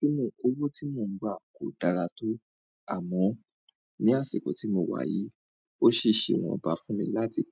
Bí mó, owó tí mò ń gbà kò dára tó àmọ́ ní àsìkò tí mo wà yìí, ó ṣèṣe wọn bá fún mi láti